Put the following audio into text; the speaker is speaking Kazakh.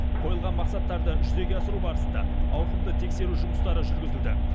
қойылған мақсаттарды жүзеге асыру барысында ауқымды тексеру жұмыстары жүргізілді